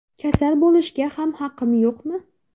Kasal bo‘lishga ham haqim yo‘qmi?